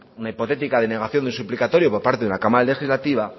una hipotética denegación de suplicatorio por parte de la cámara legislativa